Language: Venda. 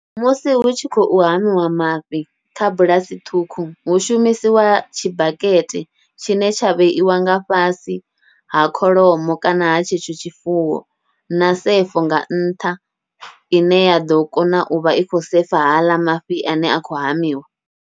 Musi hu tshi khou hamiwa mafhi kha bulasi ṱhukhu, hu shumisiwa tshibakete tshine tsha vheiwa nga fhasi ha kholomo kana ha tshetsho tshifuwo, na sefo nga nṱha ine ya ḓo kona uvha i khou sefa haaḽa mafhi ane a khou hamiwa.